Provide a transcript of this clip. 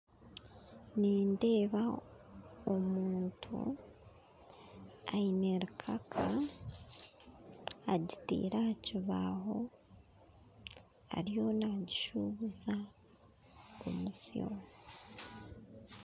Nindeeba omuntu aine rukaaka agitaire aha kibaho ariyo nagishubuza omutsyo